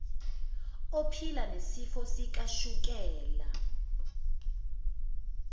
ephila nesifo sikashukela